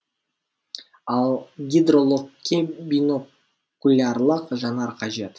ал гидрологке бинокулярлық жанар қажет